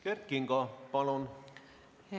Kert Kingo, palun!